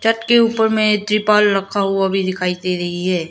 छत के ऊपर में त्रिपाल रखा हुआ भी दिखाई दे रही है।